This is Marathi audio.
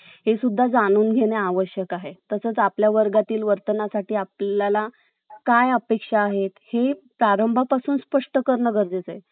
कारण universe हे एक असं आहे कि आपण, आपल्याला जे हवं असेल ते त्याच्याकडून मागितलं, त ते आपल्याला देतंच. याचमध्ये असं सांगितलं आहे कि ज्या~ अं जगामध्ये दोन प्रकारचे लोक आहेत.